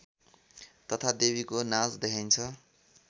तथा देवीको नाच देखाइन्छ